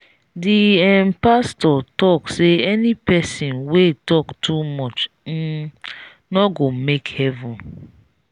the um pastor talk say any person wey talk too much um no go make heaven